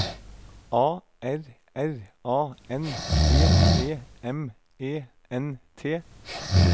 A R R A N G E M E N T